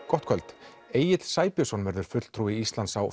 gott kvöld Egill Sæbjörnsson verður fulltrúi Íslands á